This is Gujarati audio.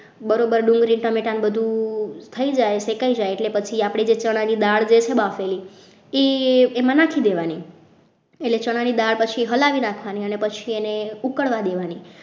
બરોબર ડુંગળી ટામેટા ને બધું થઈ જાય શેકાઈ જાય એટલે પછી આપણે જે ચણાની દાળ છે બાફેલી એ એમાં નાખી દેવાની એટલે ચણાની દાળ પછી હલાવી નાખવાની અને પછી એને ઉકળવા દેવાની